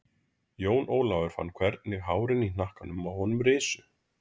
Jón Ólafur fann hvernig hárin í hnakkanum á honum risu.